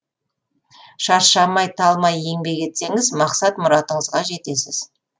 шаршамай талмай еңбек етсеңіз мақсат мұратыңызға жетесіз